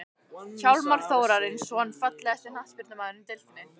Hjálmar Þórarinsson Fallegasti knattspyrnumaðurinn í deildinni?